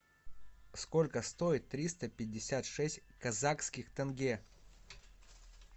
сколько стоит триста пятьдесят шесть казахских тенге